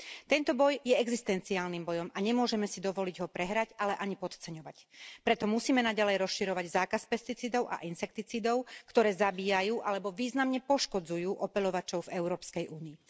Tento boj je existenciálnym bojom a nemôžeme si dovoliť ho prehrať, ale ani podceňovať, preto musíme naďalej rozširovať zákaz pesticídov a insekticídov, ktoré zabíjajú alebo významne poškodzujú opeľovačov v Európskej únii.